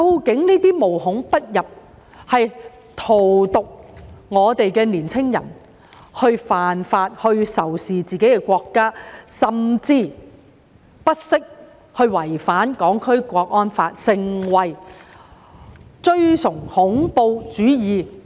這些思潮無孔不入，荼毒年青人，煽動他們犯法、仇視自己的國家，甚至不惜違反《香港國安法》，崇尚恐怖主義。